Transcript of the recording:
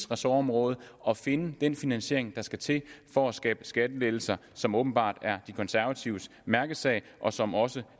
ressortområde at finde den finansiering der skal til for at skabe skattelettelser som åbenbart er de konservatives mærkesag og som også